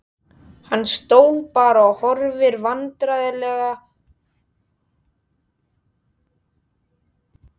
Hann stóð bara og horfði vandræðalega á löggurnar þrjár.